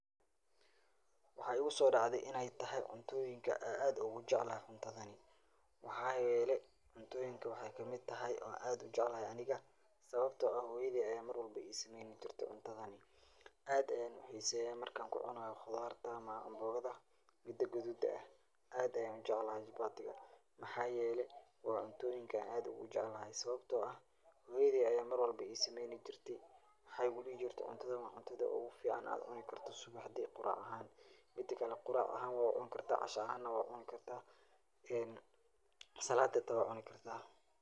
Waxaa igu sodacthee inee tahaay cuntoyinkaa aa aadka ogujeeclahay, waxaa yelee wexey kamiid tahay cuntoyinka aan aad ogu jeclahay aniga, sawabto ah hooyaadey ayaa I sameyni jirtee cuntadan mar walbo cuntadhani , ,aad ayan u xiseyaa markaa kucunayo qudarta ama anbogada miida gududka ah, aad ayan ujeclahay jabatigaa, maxaa yelee waa cuntoyinka aan aadka ogujeclahay, sawabto ah hooyadey ayaa mar walbo isameynii jirte, mexey igu dihi jirtee cuntadan waa cuntada ogufiican aad cuni karto suwaxdii, qurac ahana waa ucuni kartaa casha ahana waa ucuni kartaa, saladi hataa waa cuni kartaa.